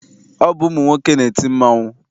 Ọ bụ ụmụnwoke na-eti mmanwụ.